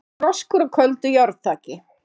FROSKUR Á KÖLDU JÁRNÞAKI